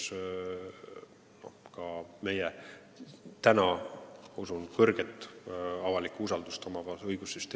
Seni on meie õigussüsteemi usaldusväärsus avalikkuse silmis usutavasti suur.